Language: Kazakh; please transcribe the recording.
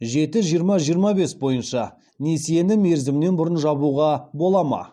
жеті жиырма жиырма бес бойынша несиені мерзімінен бұрын жабуға бола ма